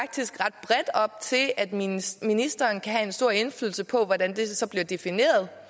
og op til at ministeren ministeren kan have en stor indflydelse på hvordan det så bliver defineret